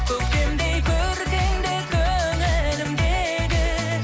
көктемдей көркіңді көңілімдегі